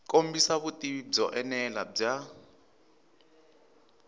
kombisa vutivi byo enela bya